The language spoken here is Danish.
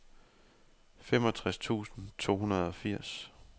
femogtres tusind to hundrede og firs